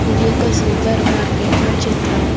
ఇది ఒక సూపర్ మార్కెట్లో చిత్రం.